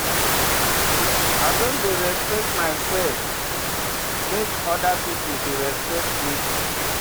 I don dey respect mysef make oda pipo respect me.